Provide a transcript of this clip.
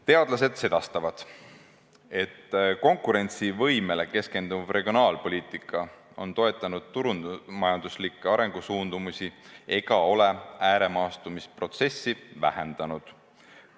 Teadlased sedastavad, et konkurentsivõimele keskenduv regionaalpoliitika on toetanud turumajanduslikke arengusuundumusi ega ole ääremaastumisprotsessi vähendanud.